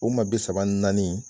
U ma bi saba ni naani.